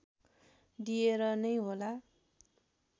दिएर नै होला